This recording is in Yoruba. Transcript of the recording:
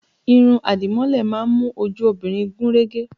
Irun àdìmọ́lẹ̀ má ń mú ojú obìnrin gún régé